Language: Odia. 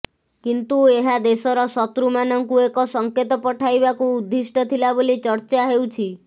କିନ୍ତୁ ଏହା ଦେଶର ଶତ୍ରୁମାନଙ୍କୁ ଏକ ସଙ୍କେତ ପଠାଇବାକୁ ଉଦ୍ଦିଷ୍ଟ ଥିଲା ବୋଲି ଚର୍ଚ୍ଚା ହେଉଛି